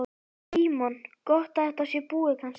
Símon: Gott að þetta sé búið kannski?